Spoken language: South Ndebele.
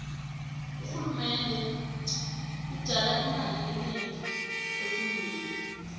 urhulumende ujala imali enengi efundweni